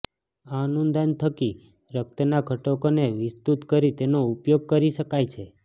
આ અનુંદાન થકી રક્તના ઘટકોને વિસ્તુત કરી તેનો ઉપયોગ કરી શકાય છે